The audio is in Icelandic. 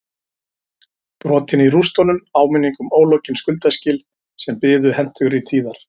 Brotin í rústunum áminning um ólokin skuldaskil sem biðu hentugri tíðar